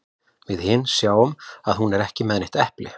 Við hin sjáum að hún er ekki með neitt epli.